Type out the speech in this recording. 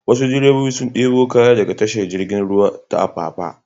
Wasu direbobi sun ɗebo kaya daga tashar jirgin ruwa ta Apapa.